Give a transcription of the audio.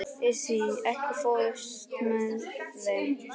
Issi, ekki fórstu með þeim?